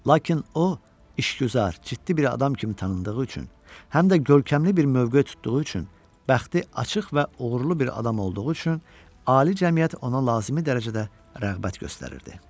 Lakin o, işgüzar, ciddi bir adam kimi tanındığı üçün, həm də görkəmli bir mövqe tutduğu üçün bəxti açıq və uğurlu bir adam olduğu üçün ali cəmiyyət ona lazımi dərəcədə rəğbət göstərirdi.